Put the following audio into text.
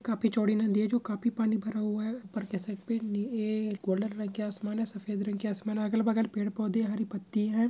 काफी चौड़ी नदी है जो काफी पानी भरा हुआ है ऊपर के साइड पे ये गोल्डन रंग के आसमान है सफ़ेद रंग की आसमान-- अगल बगल पेड़ पौधे हरी पत्ति है।